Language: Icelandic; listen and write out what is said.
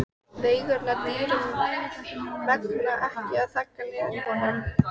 Veigarnar dýru megna ekki að þagga niður í honum.